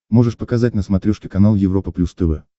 можешь показать на смотрешке канал европа плюс тв